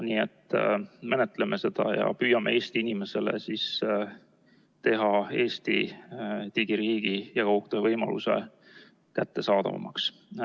Nii et menetleme seda ja püüame Eesti inimesele teha Eesti digiriigi ja kaugtöövõimaluse kättesaadavamaks.